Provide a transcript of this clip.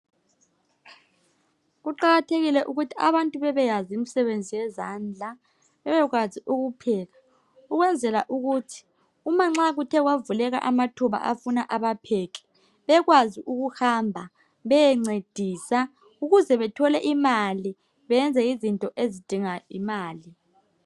kuqathekile ukuthi abantu bebeyazi imisebenzi yezandla bbekwazikupheka ukwnzela ukuthi makungavuleka amathuba afuna abapheki bekwazi ukuhamba beyencedisa ukuze bethole imali.